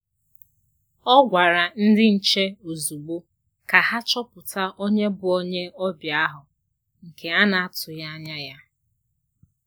Ọ̀ gwàrà ndị nche ozùgbò ka ha chọpụta onye bụ onye ọbịa ahụ nke a na-atụghị anya ya.